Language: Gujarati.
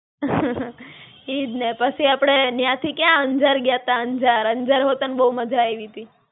ઈજ ને. પછી આપડે ન્યાં થી ક્યાં? અંજાર ગ્યા તા, અંજાર! અંજાર હો તન બહું મજા આયવી તી.